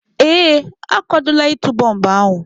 Ee, akwadola ịtụ bọmbụ ahụ.